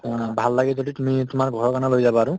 উম ভাল লাগে যদি তুমি তোমাৰ ঘৰৰ কাৰণেও লৈ যাবা আৰু